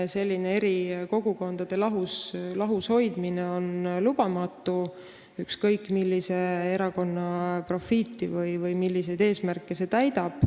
Selline eri kogukondade lahus hoidmine on lubamatu, ükskõik milline erakond siit profiiti lõikab või milliseid eesmärke see täidab.